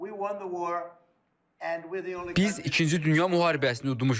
Biz ikinci dünya müharibəsini udmuşuq.